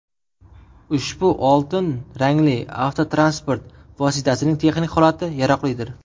Ushbu oltin rangli avtotransport vositasining texnik holati yaroqlidir.